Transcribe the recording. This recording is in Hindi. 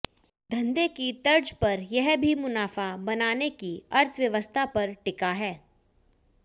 धंधे की तर्ज पर यह भी मुनाफा बनाने की अर्थव्यवस्था पर ही टिका है